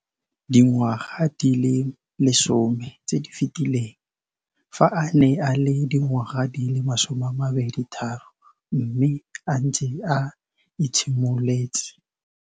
Dingwaga di le 10 tse di fetileng, fa a ne a le dingwaga di le 23 mme a setse a itshimoletse